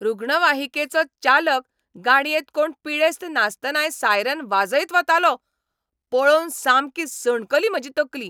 रुग्णवाहिकेचो चालक गाडयेंत कोण पिडेस्त नासतनाय सायरन वाजयत वतालो. पळोवन सामकी सणकली म्हजी तकली.